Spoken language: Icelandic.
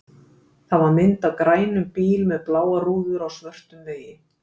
Það var mynd af grænum bíl með bláar rúður á svörtum vegi.